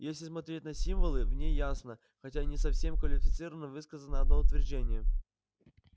если смотреть на символы в ней ясно хотя и не совсем квалифицированно высказано одно утверждение